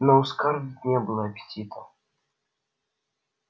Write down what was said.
но у скарлетт не было аппетита